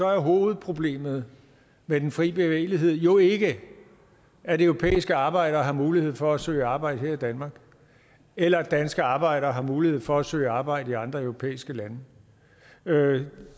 er hovedproblemet med den fri bevægelighed jo ikke at europæiske arbejdere har mulighed for at søge arbejde her i danmark eller at danske arbejdere har mulighed for at søge arbejde i andre europæiske lande det